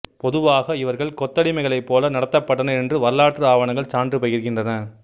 பொதுவாக இவர்கள் கொத்தடிமைகளைப் போல நடத்தப்பட்டனர் என்று வரலாற்று ஆவணங்கள் சான்று பகிர்கின்றன